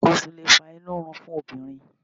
Nǹkan oṣù lè fa inú rírun fún obìnrin